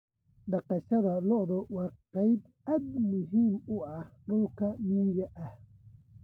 Dhaqashada lo'du waa qayb aad muhiim u ah dhulka miyiga ah.